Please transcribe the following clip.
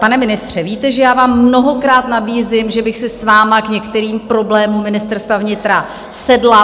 Pane ministře, víte, že já vám mnohokrát nabízím, že bych si s vámi k některým problémům Ministerstva vnitra sedla.